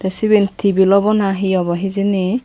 siben tibil obo na hi obo hijeni.